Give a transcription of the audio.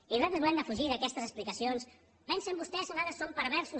i nosaltres volem defugir d’aquestes explicacions pensen vostès que nosaltres som perversos